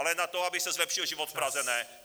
Ale na to, aby se zlepšil život v Praze, ne.